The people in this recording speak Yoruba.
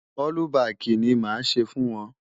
Ọ́lúbaàkì ni màá ṣe fún wọn.